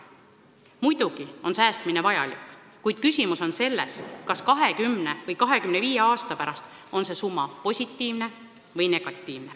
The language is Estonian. Muidugi on säästmine vajalik, kuid küsimus on selles, kas 20 või 25 aasta pärast on see summa positiivne või negatiivne.